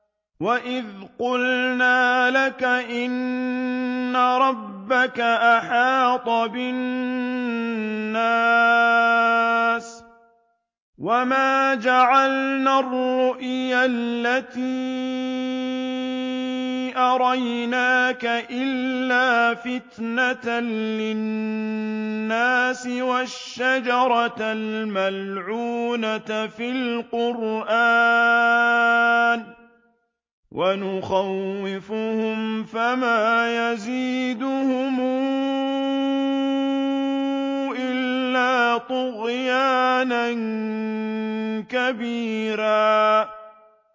وَإِذْ قُلْنَا لَكَ إِنَّ رَبَّكَ أَحَاطَ بِالنَّاسِ ۚ وَمَا جَعَلْنَا الرُّؤْيَا الَّتِي أَرَيْنَاكَ إِلَّا فِتْنَةً لِّلنَّاسِ وَالشَّجَرَةَ الْمَلْعُونَةَ فِي الْقُرْآنِ ۚ وَنُخَوِّفُهُمْ فَمَا يَزِيدُهُمْ إِلَّا طُغْيَانًا كَبِيرًا